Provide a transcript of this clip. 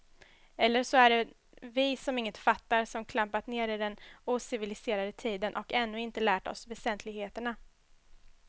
Eller så är det vi som inget fattar, som klampat ner i den ociviliserade tiden och ännu inte lärt oss väsentligheterna.